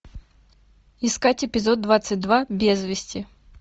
искать эпизод двадцать два без вести